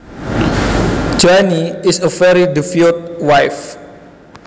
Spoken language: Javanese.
Joanne is a very devoted wife